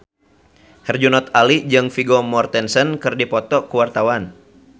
Herjunot Ali jeung Vigo Mortensen keur dipoto ku wartawan